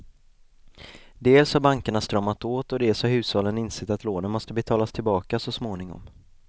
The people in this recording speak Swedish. Dels har bankerna stramat åt och dels har hushållen insett att lånen måste betalas tillbaka så småningom.